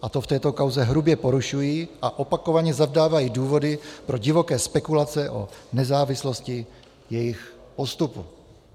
A to v této kauze hrubě porušují a opakovaně zavdávají důvody pro divoké spekulace o nezávislosti jejich postupu.